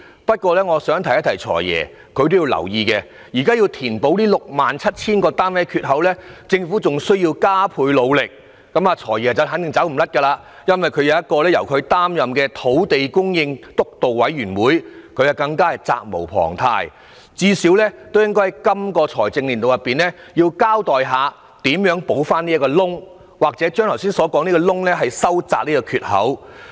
但是，我想請"財爺"留意，如果想填補這 67,000 個單位的缺口，政府便仍需加倍努力，"財爺"肯定也有責任，因為他擔任土地供應督導委員會主席，最低限度也應該在這個財政年度，交代如何填補缺口，或是如何把缺口收窄。